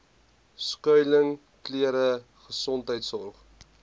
skuiling klere gesondheidsorg